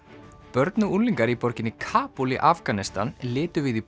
börn og unglingar í borginni Kabúl í Afganistan litu við í